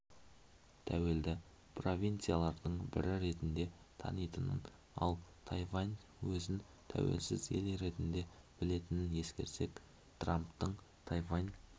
тәуелді провинциялардың бірі ретінде танитынын ал тайвань өзін тәуелсіз ел ретінде білетінін ескерсек трамптың тайвань